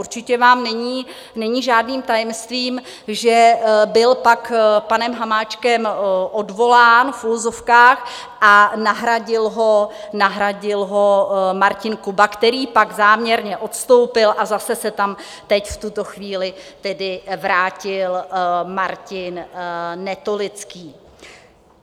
Určitě vám není žádným tajemstvím, že byl pak panem Hamáčkem odvolán, v uvozovkách, a nahradil ho Martin Kuba, který pak záměrně odstoupil, a zase se tam teď v tuto chvíli vrátil Martin Netolický.